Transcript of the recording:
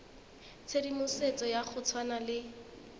tshedimosetso ya go tshwana le